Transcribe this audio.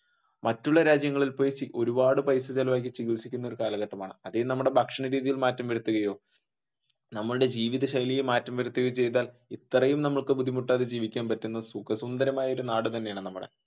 മറ്റുള്ള രാജ്യങ്ങളിൽ പോയി ഒരുപാട് പൈസ ചിലവാക്കി ചികിൽസിക്കുന്ന ഒരു കാലഘട്ടമാണ്. ഭക്ഷണരീതിൽ മാറ്റം വരുത്തുകയോ നമ്മുടെ ജീവിതശൈലികളിൽ മാറ്റം വരുത്തുകയോ ചെയ്‌താൽ ഇത്രയും നമുക്ക് ബുദ്ധിമുട്ടാതെ ജീവിക്കാൻ പറ്റുന്ന സുഖ സുന്ദരമായ നാട് തന്നെയാണ്.